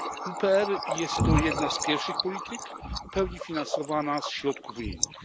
WPR jest to jedna z pierwszych polityk w pełni finansowana ze środków unijnych.